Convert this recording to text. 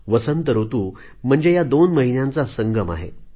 वसंत ऋतू म्हणजे या दोन महिन्यांचा संगम आहे